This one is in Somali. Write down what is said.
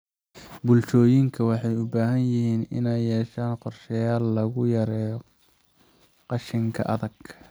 Bulshooyinka waxay u baahan yihiin inay yeeshaan qorshayaal lagu yareeyo qashinka adag.